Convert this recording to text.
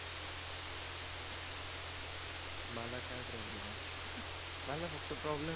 मला काही प्रॉब्लम. मला फक्त प्रॉब्लम